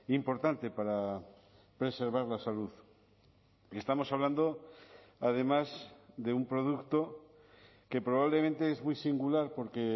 importante para preservar la salud estamos hablando además de un producto que probablemente es muy singular porque